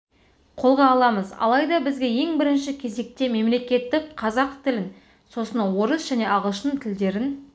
қолға аламыз алайда бізге ең бірінші кезекте мемлекеттік қырғыз тілін сосын орыс және ағылшын тілдерін